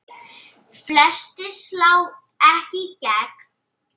Flestir slá ekki í gegn.